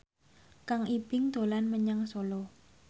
Kang Ibing dolan menyang Solo